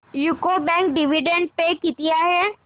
UCO bank dividend pay किती आहे